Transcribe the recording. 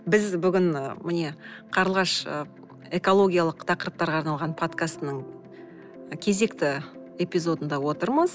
біз бүгін міне қарлығаш ы экологиялық тақырыптарға арналған подкастының кезекті эпизодында отырмыз